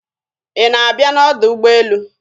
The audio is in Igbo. Ị na-abịa n'ọdọ ụgbọelu?